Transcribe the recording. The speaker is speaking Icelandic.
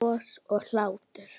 Bros og hlátur.